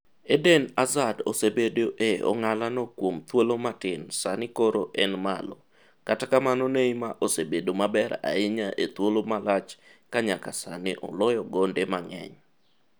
Eden Hazard osebedo e ong'ala no kuom thuolo matin sani koro en malo-kata kamano Neymar osebedo maber ahinya e thuolo malach ka nyaka sani oloyo gonde mang'eny.